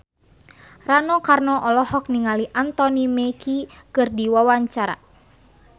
Rano Karno olohok ningali Anthony Mackie keur diwawancara